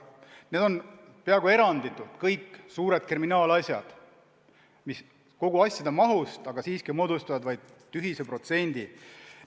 Need on peaaegu eranditult kõik suured kriminaalasjad, mis kogu asjade mahust siiski moodustavad tühise protsendi.